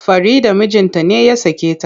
Farida mijinta ne ya sake ta.